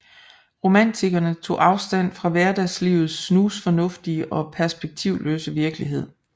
Romantikerne tog afstand fra hverdagslivets snusfornuftige og perspektivløse virkelighed